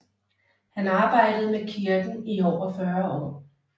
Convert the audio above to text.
Han arbejdede med kirken i over 40 år